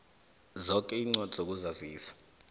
zoke iincwadi zokuzazisa